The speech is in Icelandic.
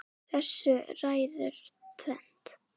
Þessu ræður tvennt